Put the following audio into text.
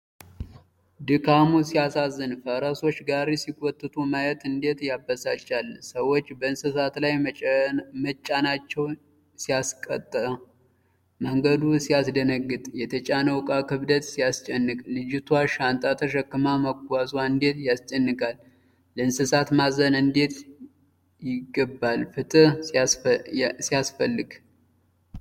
ድካሙ ሲያሳዝን! ፈረሶች ጋሪ ሲጎትቱ ማየት እንዴት ያበሳጫል! ሰዎች በእንስሳት ላይ መጫናቸው ሲያስቆጣ! መንገዱ ሲያስደነግጥ! የተጫነው ዕቃ ክብደት ሲያስጨንቅ! ልጅቷ ሻንጣ ተሸክማ መጓዟ እንዴት ያስጨንቃል! ለእንስሳት ማዘን እንዴት ይገባል! ፍትህ ሲያስፈልግ!